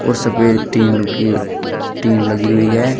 और सफेद टीन की टीन लगी हुई है।